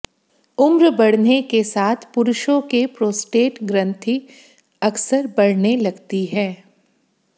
उम्र बढ़ने के साथ पुरुषों के प्रोस्टेट ग्रंथि अक्सर बढ़ने लगती है